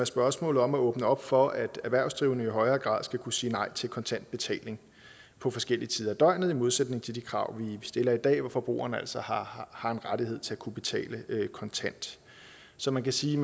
spørgsmålet om at åbne op for at erhvervsdrivende i højere grad skal kunne sige nej til kontant betaling på forskellige tider af døgnet i modsætning til de krav vi stiller i dag hvor forbrugeren altså har har en rettighed til at kunne betale kontant så man kan sige